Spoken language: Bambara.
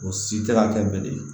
O si tɛ ka kɛ bilen